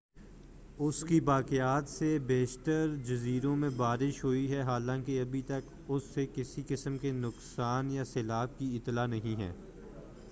اس کی باقیات سے بیشتر جزیروں میں بارش ہوئی ہے حالانکہ ابھی تک اس سے کسی قسم کے نقصان یا سیلاب کی اطلاع نہیں ہے